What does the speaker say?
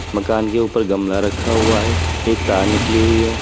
मकान के ऊपर गमला रखा हुआ है एक तार निकली हुई है।